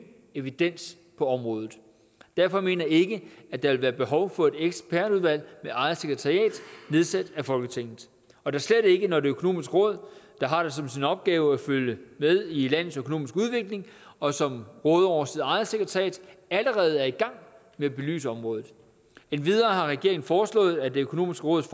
evidens på området derfor mener jeg ikke at der vil være behov for et ekspertudvalg med eget sekretariat nedsat af folketinget og da slet ikke når det økonomiske råd der har det som sin opgave at følge med i landets økonomiske udvikling og som råder over sit eget sekretariat allerede er i gang med at belyse området endvidere har regeringen foreslået at det økonomiske råds